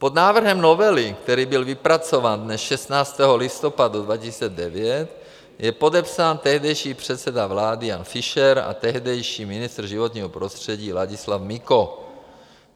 Pod návrhem novely, který byl vypracován dne 16. listopadu 2009, je podepsán tehdejší předseda vlády Jan Fischer a tehdejší ministr životního prostředí Ladislav Miko.